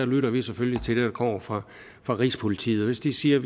lytter vi selvfølgelig til det der kommer fra fra rigspolitiet og hvis de siger